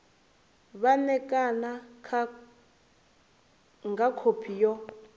vha ṋekane nga khophi yo